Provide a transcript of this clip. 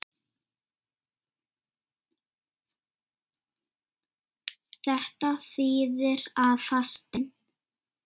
Þetta þýðir að fastinn